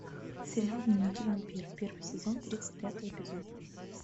сериал дневники вампира первый сезон тридцать пятый эпизод